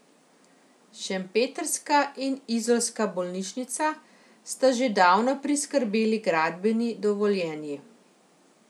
Šempetrska in izolska bolnišnica sta že davno priskrbeli gradbeni dovoljenji.